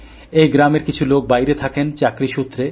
এই গ্রামের কিছু লোক বাইরে থাকেন চাকরি সূত্রে